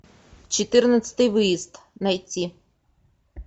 четырнадцатый выезд найти